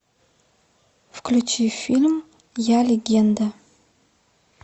включи фильм я легенда